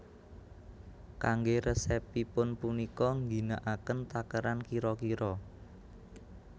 Kanggé resepipun punika ngginakaken takeran kira kira